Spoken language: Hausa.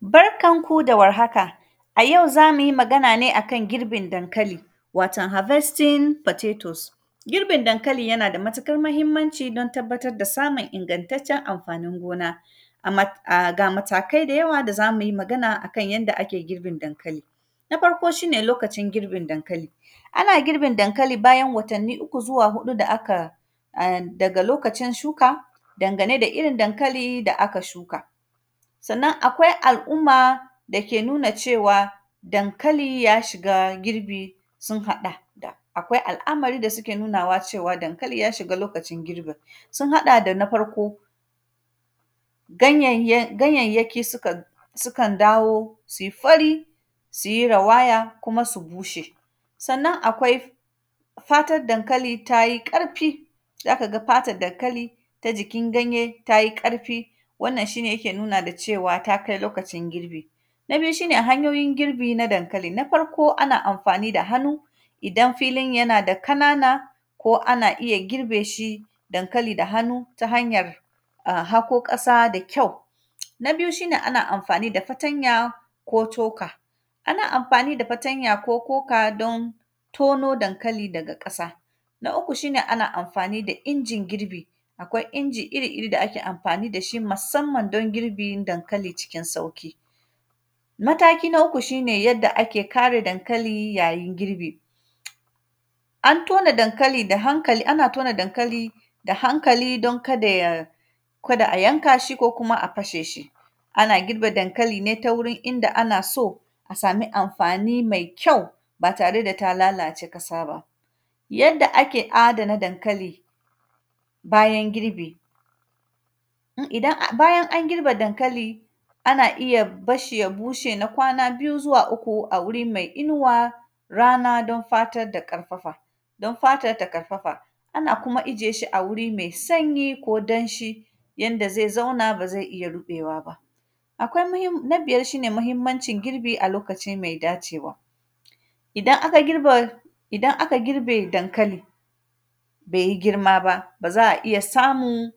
Barkan ku da warhaka, a yau za mu yi magana ne a kan girbin dankali, waton “harvesting potatos”. Girbin dankali, yana da matikar mahimmanci don tabbatad da samun ingantaccen amfanin gona. Ama; ga matakai da yawa, da za mu yi magana a kan yanda ake girbin dankali. Na farko, shi ne lokacin girbin dankali, ana girbin dankali bayan watanni uku zuwa huɗu da aka, en; daga lokacin shuka, dangane da irin dankali da aka shuka. Sannan, akwai al’umma da ke nuna cewa, dankali ya shiga girbi, sun haɗa da: Akwai al’amari da sike nunawa cewa dankalin ya shiga lokacin girbin. Sun haɗa da na farko,, ganyayyan; ganyayyaki sika; sikan dawo si fari, si yi rawaya, kuma su bushe. Sannan, akwai fatad dankali ta yi ƙarfi, za ka ga fatan dankali ta jikin ganye, ta yi ƙarfi. Wannan, shi ne yake nuna da cewa, ta kai lokacin girbi. Na biyu, shi ne hanyoyin girbi na dankali, na farko, ana amfani da hanu, idan filin yana da kanana ko ana iya girbe shi, dankali da hanu ta hanyar a hako ƙasa da kyau. Na biyu, shi ne ana amfani da fatanya ko toka, ana amfani da fatanya ko toka don tono dankali daga ƙasa. Na uku, shi ne ana amfani da injin girbi. Akwai inji iri-iri da ake amfani da shi masamman dan girbin dankali cikin sauki. Mataki na uku, shi ne yadda ake kare dankali yayin girbi. An tona dankali a hankali, ana tona dankali da hankali, don kada ya, kada a yanka shi ko kuma a kashe shi. Ana girbe dankali ne ta wurin inda ana so a sami amfani mai kyau ba tare da ta lalace kasa ba. Yadda ake adana dankali bayan girbi, idan a; bayan an girbe dankali, ana iya bas shi ya bushe na kwana biyu zuwa uku a wuri mai inuwa, rana don fatat da ƙarfafa, don fatat ta karfafa. Ana kuma ijiye shi a wuri me sanyi ko danshi, yanda zai zauna ba ze iya riƃewa ba. Akwai mihim; na biyar, shi ne mahimmancin girbi a lokaci mai dacewa, idan aka girbe, idan aka girbe dankali be yi girma ba, ba za a iya samu